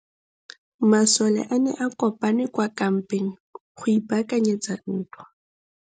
Masole a ne a kopane kwa kampeng go ipaakanyetsa ntwa.